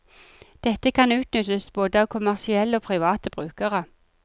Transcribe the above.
Dette kan utnyttes både av kommersielle og private brukere.